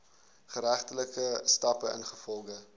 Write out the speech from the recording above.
geregtelike stappe ingevolge